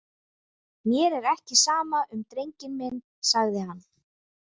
Mér er ekki sama um drenginn minn, sagði hann.